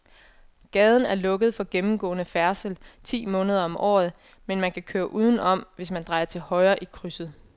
Gaden er lukket for gennemgående færdsel ti måneder om året, men man kan køre udenom, hvis man drejer til højre i krydset.